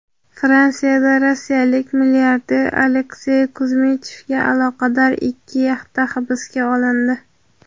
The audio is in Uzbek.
Fransiyada rossiyalik milliarder Aleksey Kuzmichevga aloqador ikki yaxta hibsga olindi.